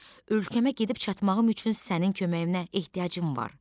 Ölkəmə gedib çatmağım üçün sənin köməyinə ehtiyacım var.